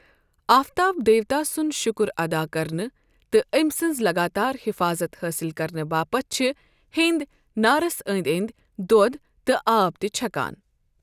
آفتاب دیوتا سُنٛد شُکُر اَدا کرنہٕ تہٕ أمۍ سٕنٛز لَگاتار حفاظت حٲصِل کرنہٕ باپتھ چھِ ہیٚنٛدۍ نارس أنٛدۍ اندۍ دۄدھ تہٕ آب تہِ چھکان۔